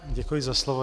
Děkuji za slovo.